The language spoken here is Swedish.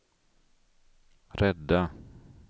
rädda